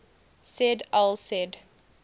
said al said